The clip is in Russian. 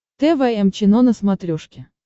тэ вэ эм чено на смотрешке